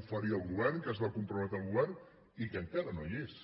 oferir el govern a què es va comprometre el govern i que encara no hi és